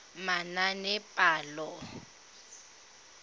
manaanepalo